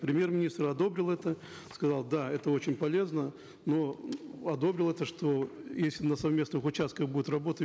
премьер министр одобрил это сказал да это очень полезно но одобрил это что если на совместных участках будут работы